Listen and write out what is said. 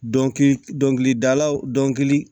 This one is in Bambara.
Dɔnkili dɔkilidalaw dɔnkili